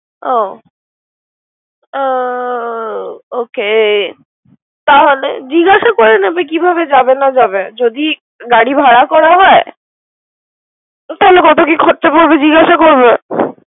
ও ও ওকে তাহলে জিগাস করে নিবে কিভাবে যাবে না যাবে। যদি গাড়ি ভাড়া করা হয়। তাহলে কত কি খরচা পরবে জিগাসা করবে।